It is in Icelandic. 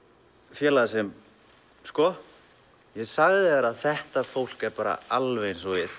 félaga sinn sko ég sagði þér að þetta fólk er bara alveg eins og við